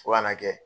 Fo ka n'a kɛ